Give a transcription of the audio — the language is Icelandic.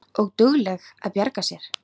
Og dugleg að bjarga sér.